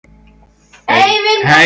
Eyvindarstöðum